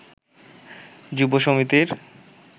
যুব সমিতির